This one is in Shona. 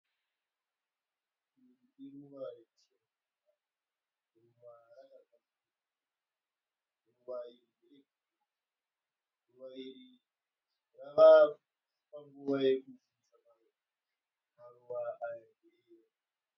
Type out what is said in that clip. Iri iruva rechirungu. Ruva rakagadzirirwa. Ruva iri nderegirini. Ruva iri rava panguva yekufa saka maruva ayo ndeyeyero.